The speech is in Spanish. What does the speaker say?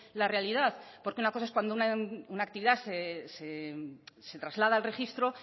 la realidad porque una cosa es cuando una actividad se traslada al registro